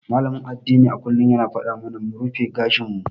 Malamin addini a kullum yana faɗa mana mu rufe gashin mu.